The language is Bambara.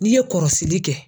N'i ye kɔrɔsirili kɛ.